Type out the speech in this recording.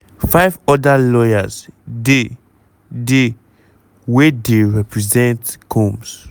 five oda lawyers dey dey wey deyrepresent combs.